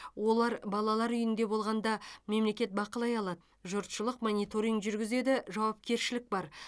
олар балалар үйінде болғанда мемлекет бақылай алады жұртшылық мониторинг жүргізеді жауапкершілік бар